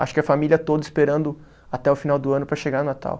Acho que a família toda esperando até o final do ano para chegar o Natal.